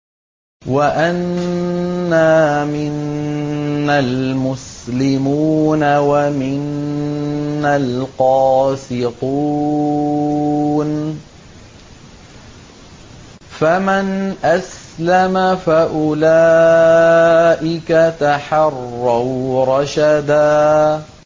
وَأَنَّا مِنَّا الْمُسْلِمُونَ وَمِنَّا الْقَاسِطُونَ ۖ فَمَنْ أَسْلَمَ فَأُولَٰئِكَ تَحَرَّوْا رَشَدًا